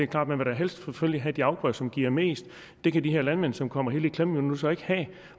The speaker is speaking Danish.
klart at man helst vil have de afgrøder som giver mest det kan de her landmænd som nu kommer helt i klemme jo så ikke have